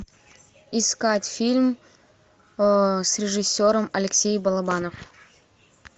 искать фильм с режиссером алексей балабанов